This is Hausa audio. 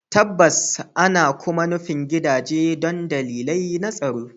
Tabbas, ana kuma nufin gidaje don dalilai na tsaro